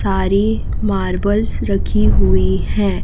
सारी मार्बल्स रखी हुई है।